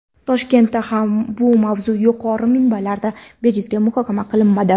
Toshkentda ham bu mavzu yuqori minbarlarda bejizga muhokama qilinmadi.